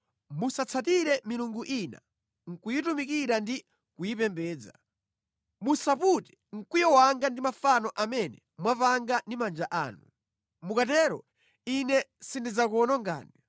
Musatsatire milungu ina nʼkuyitumikira ndi kuyipembedza. Musapute mkwiyo wanga ndi mafano amene mwapanga ndi manja anu. Mukatero Ine sindidzakuwonongani.